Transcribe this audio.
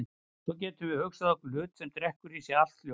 En svo getum við hugsað okkur hlut sem drekkur í sig allt ljós.